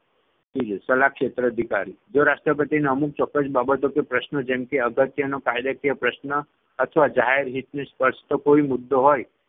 ત્રીજો સલાહક્ષેત્ર અધિકારી જો રાષ્ટ્રપતિને અમુક ચોક્કસ બાબતો કે પ્રશ્ન જેમ કે અગત્યનો કાયદાકીય પ્રશ્ન અથવા જાહેર હિતને સ્પર્શતો કોઈ મુદ્દો હોય